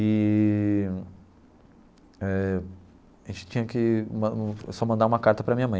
Eee eh a gente tinha que man só mandar uma carta para minha mãe.